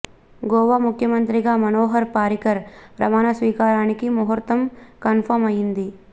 గోవా ముఖ్యమంత్రిగా మనోహర్ పారికర్ ప్రమాణ స్వీకారానికి ముహుర్తం కన్ఫామ్ అయ్యింది